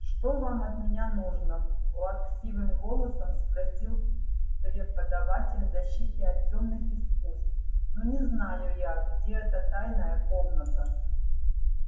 что вам от меня нужно плаксивым голосом спросил преподаватель защиты от тёмных искусств ну не знаю я где эта тайная комната